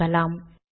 தொகுக்கலாம்